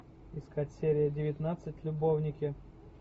искать серия девятнадцать любовники